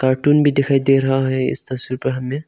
Cartoon भी दिखाई दे रहा है इस तस्वीर पर हमें।